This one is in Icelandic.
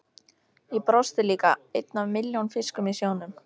Ég brosti líka, einn af milljón fiskum í sjónum.